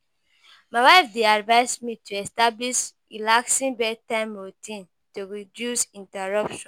My wife dey advise me to establish relaxing bedtime routine to reduce interruptions.